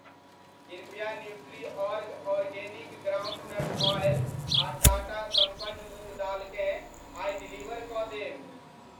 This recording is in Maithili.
कृपया Nutriorg organic ground nut oil आ टाटा सम्पन्न मूंग दाल केँ आइ डिलीवर कऽ देब।